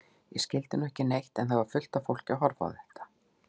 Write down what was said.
Ég skildi nú ekki neitt en það var fullt af fólki að horfa á þetta.